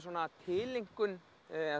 tileinkun eða